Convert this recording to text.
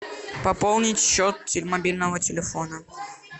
пополнить счет мобильного телефона